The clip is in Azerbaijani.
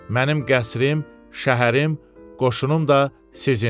Mənim qəsrim, şəhərim, qoşunum da sizindir.